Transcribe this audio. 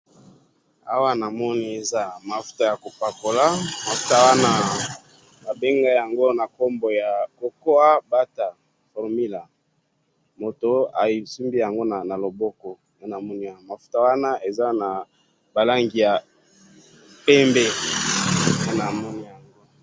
awa namoni ez mafuta ya kopakola mafuta yango eza na kombo ya cocoa butter mafuta yango eza na langi ya pembe nde namoni awa.